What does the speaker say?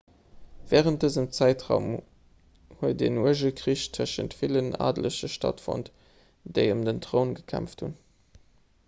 wärend dësem zäitraum huet en uerge krich tëschent villen adelege stattfonnt déi ëm den troun gekämpft hunn